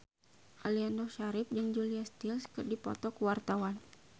Aliando Syarif jeung Julia Stiles keur dipoto ku wartawan